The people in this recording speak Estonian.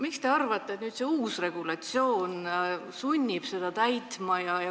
Miks te arvate, et see uus eelnõu sunnib neid regulatsioone täitma?